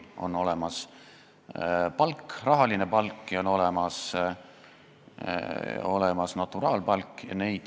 On olemas rahaline palk ja on olemas naturaalpalk.